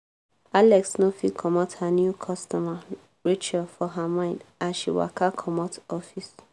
alex no fit comot her new customer rachel for her mind as she waka comot office.